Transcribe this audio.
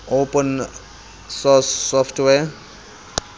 open source software